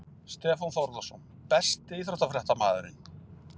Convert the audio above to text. Stefán Þórðarson Besti íþróttafréttamaðurinn?